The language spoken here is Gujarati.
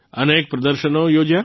અનેક પ્રદર્શનો યોજ્યા